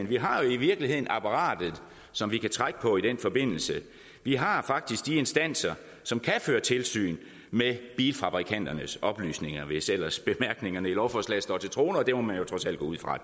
vi har jo i virkeligheden apparatet som vi kan trække på i den forbindelse vi har faktisk de instanser som kan føre tilsyn med bilfabrikanternes oplysninger hvis ellers bemærkningerne i lovforslaget står til troende og det må man jo trods alt gå ud fra